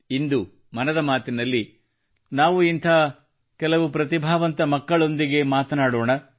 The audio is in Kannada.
ಇಂದು ಮನದ ಮಾತಿನಲ್ಲಿ ನಾವು ಇಂಥ ಕೆಲವು ಪ್ರತಿಭಾವಂತ ಮಕ್ಕಳೊಂದಿಗೆ ಮಾತನಾಡೋಣ